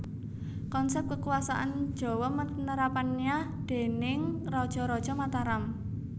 Konsep Kekuasaan Jawa Penerapannya déning Raja raja Mataram